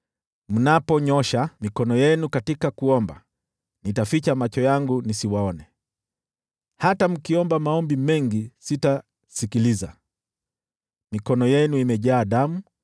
Mnaponyoosha mikono yenu katika maombi, nitaficha macho yangu nisiwaone; hata mkiomba maombi mengi sitasikiliza. Mikono yenu imejaa damu;